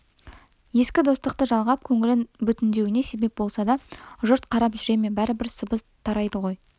ескі достықты жалғап көңілін бүтіндеуіне себеп болса да жұрт қарап жүре ме бәрібір сыбыс тарайды ғой